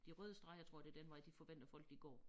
De røde streger tror jeg det den vej de forventer folk de går